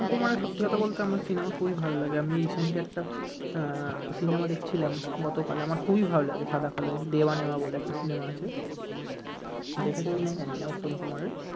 উত্তম কুমারের সত্যি কথা বলতে সিনেমা আমার খুবই ভাল লাগে আমি একটা আহ সিনেমা দেখছিলাম গতকাল আমার খুবই ভাল লাগে সাদা কাল, দেওয়া নেওয়া বলে একটা সিনেমা আছে, দেখেছ কিনা জানি না উত্তম কুমারের